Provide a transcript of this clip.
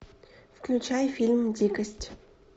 включай фильм дикость